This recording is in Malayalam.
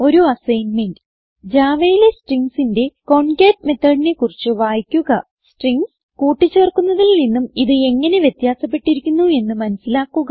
ഒരു അസ്സൈന്മെന്റ് Javaയിലെ stringsന്റെ കോൺകാട്ട് methodനെ കുറിച്ച് വായിക്കുക സ്ട്രിംഗ്സ് കൂട്ടി ചേർക്കുന്നതിൽ നിന്നും ഇത് എങ്ങനെ വ്യത്യാസപ്പെട്ടിരിക്കുന്നു എന്ന് മനസിലാക്കുക